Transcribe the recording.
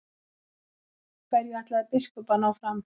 Hverju ætlaði biskup að ná fram?